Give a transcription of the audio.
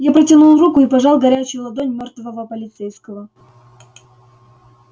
я протянул руку и пожал горячую ладонь мёртвого полицейского